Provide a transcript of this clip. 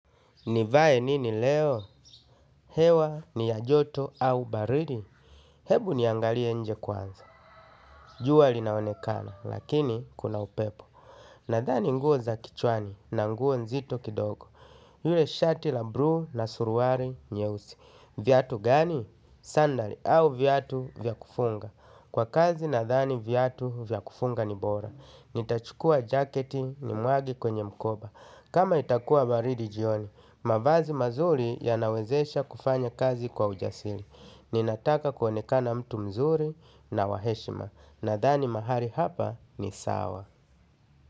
Nivae nini leo? Hewa ni ya joto au baridi? Hebu niangalie nje kwanza. Jua li naonekana, lakini kuna upepo. Nadhani nguo za kichwani na nguo nzito kidogo. Yule shati la bluu na suruali nyeusi. Viatu gani? Sandali au viatu vya kufunga. Kwa kazi nadhani viatu vya kufunga ni bora. Nitachukua jaketi nimwage kwenye mkoba. Kama itakuwa baridi jioni. Mavazi mazuri yanawezesha kufanya kazi kwa ujasiri. Ninataka kuonekana mtu mzuri na wa heshima. Nadhani mahali hapa ni sawa.